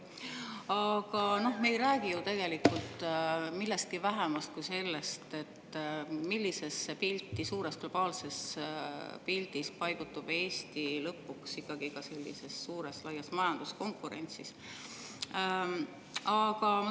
" Aga me ei räägi ju tegelikult millestki vähemast kui sellest, millisesse pilti suures globaalses pildis paigutub Eesti lõpuks sellises suures laias majanduskonkurentsis.